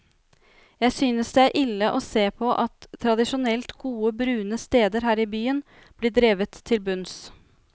Jeg synes det er ille å se på at tradisjonelt gode, brune steder her i byen blir drevet til bunns.